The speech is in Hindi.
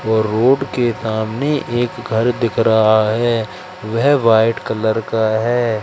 और रोड के सामने एक घर दिख रहा है वह व्हाइट कलर का है।